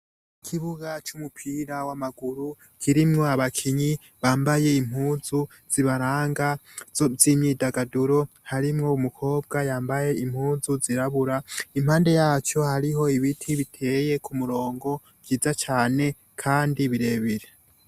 Ikibuga c'umupira w'amaguru kirimwo abakinyi bambaye impuzu zibaranga z'imyidagaduro, harimwo umukobwa yambaye impuzu zirabura, impande yaco hariho ibiti biteye ku murongo vyiza cane kandi birebire.